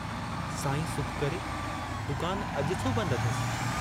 साईं सुख करे दुकान अजु छो बंद अथस।